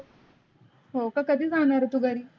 हो का कदी जाणगर आहे तू घरी?